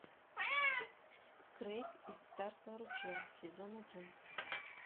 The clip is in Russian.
крейг из царства ручья сезон один